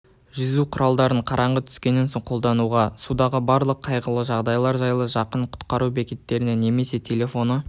жүзу құралдарын қараңғы түскеннен соң қолдануға судағы барлық қайғылы жағдайлар жайлы жақын құтқару бекетіне немесе телефоны